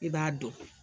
I b'a dɔn